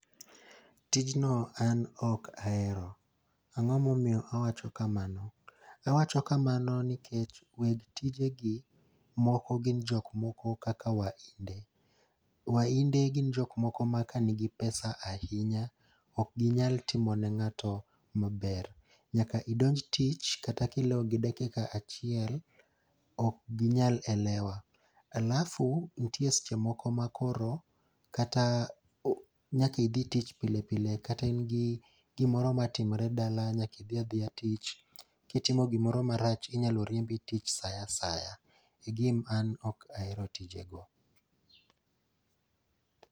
Tijno an ok ahero, ang'o momiyo awacho kamano? Awacho kamano nikech weg tije gi gin jok moko kaka wahinde. Wahinde gin jok moko ma ka nigi pesa ahinya, ok ginyal timo ne ng'ato maber. Nyaka idonj tich kata ka ilewo gi dakika achiel, ok ginyal elewa. Alafu, nitie seche moko ma koro kata o nyakidhi tich pile pile kata in gi gimoro matimre dala nyaki dhi adhiya tich. Kitimo gimoro marach inyalo riembi tich sa asaya. E gin an ok ahero tije go.